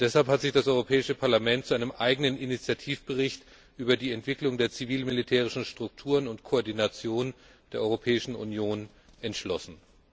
Deshalb hat sich das Europäische Parlament zu einem eigenen Initiativbericht über die Entwicklung der zivilmilitärischen Strukturen und Koordination der Europäischen Union entschlossen.